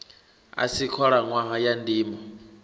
a si khalaṋwaha ya ndimo